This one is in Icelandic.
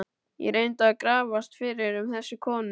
Ég reyndi að grafast fyrir um þessa konu.